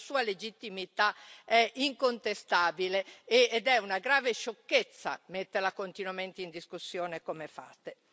Quindi la sua legittimità è incontestabile, ed è una grave sciocchezza metterla continuamente in discussione come fate.